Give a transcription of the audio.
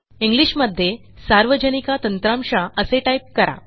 English मध्ये सार्वजनिका तंत्रमशा असे टाईप करा